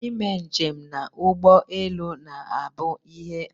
I me njem na ụgbọ elu na abụ ihe aṅụrị